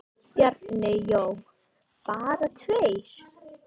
Bjarni Jó: Bara tveir?!